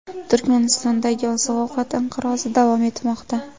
Turkmanistondagi oziq-ovqat inqirozi davom etmoqda.